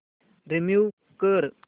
remove कर